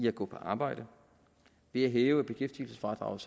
at gå på arbejde ved at hæve beskæftigelsesfradraget